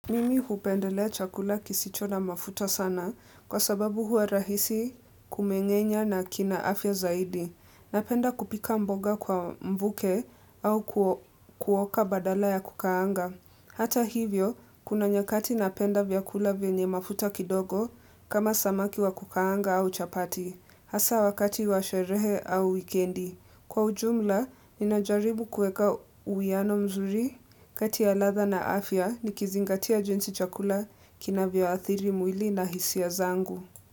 Mimi hupendelea chakula kisicho na mafuta sana kwa sababu hua rahisi kumengenya na kina afya zaidi. Napenda kupika mboga kwa mbuke au kuoka badala ya kukaanga. Hata hivyo, kuna nyakati napenda vyakula venye mafuta kidogo kama samaki wa kukaanga au chapati. Hasa wakati wa sherehe au wikendi. Kwa ujumla, ninajaribu kueka uwiano mzuri kati ya ladha na afya nikizingatia jinsi chakula kinavyoadhiri mwili na hisia zangu.